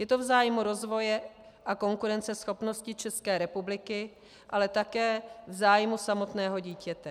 Je to v zájmu rozvoje a konkurenceschopnosti České republiky, ale také v zájmu samotného dítěte.